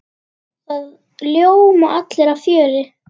Það ljóma allir af fjöri.